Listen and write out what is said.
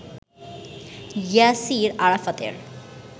ইয়াসির আরাফাতের